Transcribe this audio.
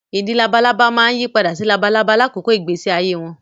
Ìdin labalábá máa yí padà sí labalábá lákòókò ìgbésí ayé wọn